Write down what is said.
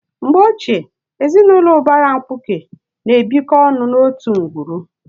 Mgbe ochie, ezinụlọ ụbara mkpuke na-ebikọ ọnụ n'otu ngwuru.